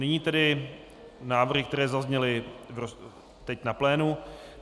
Nyní tedy návrhy, které zazněly teď na plénu.